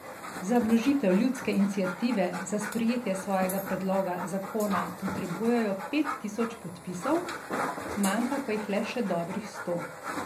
Za vložitev ljudske iniciative za sprejetje svojega predloga zakona potrebujejo pet tisoč podpisov, manjka pa jih le še dobrih sto.